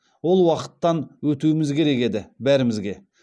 ол уақыттан өтуіміз керек еді бәрімізге